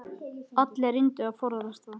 Allir reyndu að forðast það.